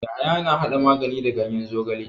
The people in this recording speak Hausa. Yahaya na hada magani da ganyen zogala.